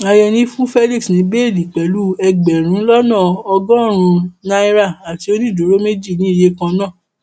àyẹni fún felix ní bẹẹlí pẹlú ẹgbẹrún lọnà ọgọrùnún náírà àti onídùúró méjì ní iye kan náà